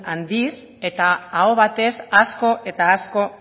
handiz eta aho batez asko eta asko